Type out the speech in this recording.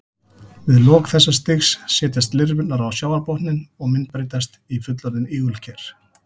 Við lok þessa stigs setjast lirfurnar á sjávarbotninn og myndbreytast í fullorðin ígulker.